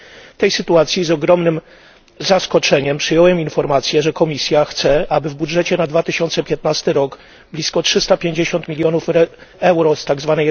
W tej sytuacji z ogromnym zaskoczeniem przyjąłem informacje, że Komisja chce, aby w budżecie na 2015 rok blisko 350 milionów euro z tzw.